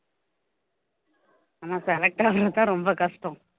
ஆனா select ஆகுறது தான் ரொம்ப கஷ்டம்